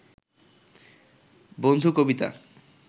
বন্ধু কবিতা